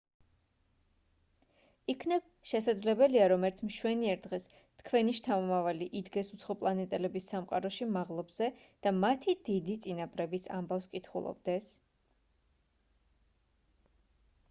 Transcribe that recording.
იქნებ შესაძლებელია რომ ერთ მშვენიერ დღეს თქვენი შთამომავალი იდგეს უცხოპლანეტელების სამყაროში მაღლობზე და მათი დიდი წინაპრების ამბავს კითხულობდეს